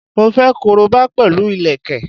Mo fẹ́ koroba pẹ̀lú ìlẹ̀kẹ̀